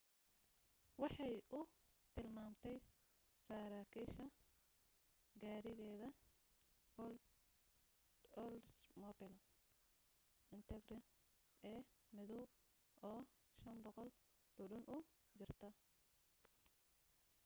waxay u tilmaamtay saraakiisha gaarigeeda oldsmobile intrigue ee madow oo 500 dhudhun u jirta